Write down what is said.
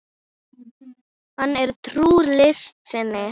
Hann er trúr list sinni.